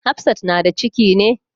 Hafsat na da ciki ne?